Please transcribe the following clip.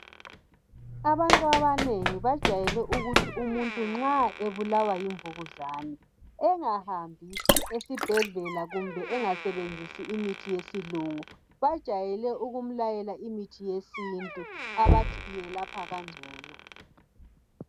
Abantu abanengi bajayele ukuthi umuntu nxa ebulawa yimvukuzane engahambi esibhedlela kumbe engasebenzisi imithi yesilungu Bajayele ukumlayela imithi yesintu abathi yelapha kangcono